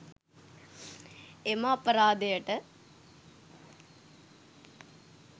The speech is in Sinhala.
එම අපරාධයට